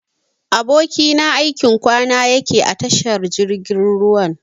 Abokina aikin kwana yakeyi a tashar jirgin ruwan.